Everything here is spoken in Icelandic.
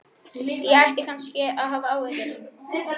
Ég ætti kannski að hafa áhyggjur.